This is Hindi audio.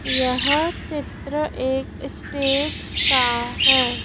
यह चित्र एक स्टेज का है।